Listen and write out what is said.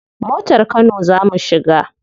Motar kano za mu shiga.